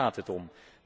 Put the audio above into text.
Daar gaat het om.